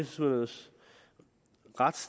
synes